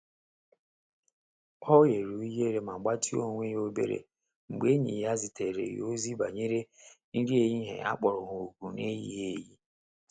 Ọ ghere ughere ma gbatịa onwe ya obere oge mgbe enyi ya zitere ya ozi banyere nri ehihie akpọro ha oku na-eyighi eyi.